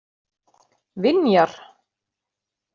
Vinjar